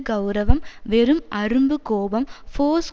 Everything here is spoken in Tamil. கெளரவம் வெறும் அரும்பு கோபம் ஃபோர்ஸ்